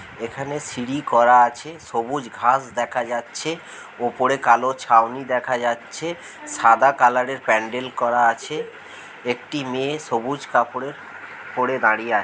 এখানে সিঁড়ি করা আছে সবুজ ঘাস দেখা যাচ্ছে উপরে কালো ছাউনি দেখা যাচ্ছে সাদা কালার এর প্যান্ডেল করা আছে একটি মেয়ে সবুজ কাপড় এর পড়ে দাড়িয়ে আছে।